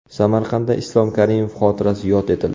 Samarqandda Islom Karimov xotirasi yod etildi .